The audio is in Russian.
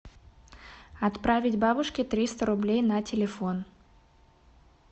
отправить бабушке триста рублей на телефон